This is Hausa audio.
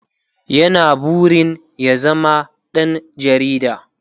ya na burin ya zama ɗan jarida